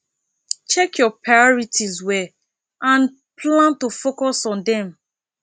check your priorities well and plan to focus on them